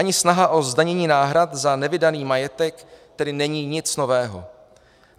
Ani snaha o zdanění náhrad za nevydaný majetek tedy není nic nového.